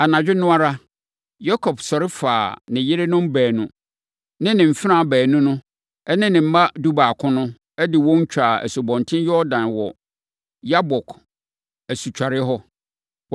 Anadwo no ara, Yakob sɔre faa ne yerenom baanu ne ne mfenaa baanu no ne ne mma dubaako no, de wɔn twaa Asubɔnten Yordan wɔ Yabok asutwareɛ hɔ.